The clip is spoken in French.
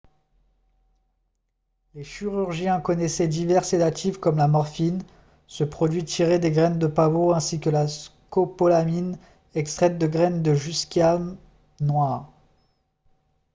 les chirurgiens connaissaient divers sédatifs comme la morphine ce produit tirée des graines de pavot ainsi que la scopolamine extraite de graines de jusquiame noire